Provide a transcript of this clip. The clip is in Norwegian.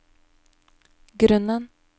grunnen